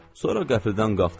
Sonra qəfildən qalxdılar.